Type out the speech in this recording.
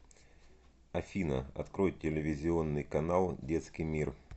афина открой телевизионный канал детский мир